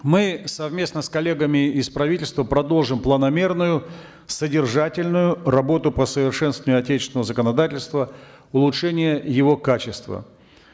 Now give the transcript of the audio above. мы совместно с коллегами из правительства продолжим планомерную содержательную работу по совершенствованию отечественного законодательства улучшения его качества